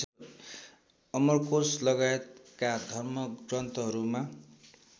अमरकोष लगाएतका धर्मग्रन्थहरूमा